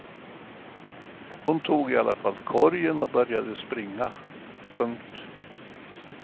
Hon tog i alla fall korgen och började springa. punkt